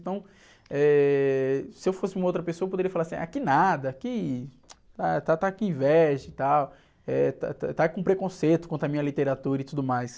Então, eh, se eu fosse uma outra pessoa, eu poderia falar assim, ah, que nada, que... Ah, está, está com inveja e tal, eh, está, está é com preconceito contra a minha literatura e tudo mais.